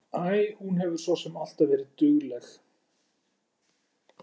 Æ, hún hefur svo sem alltaf verið dugleg.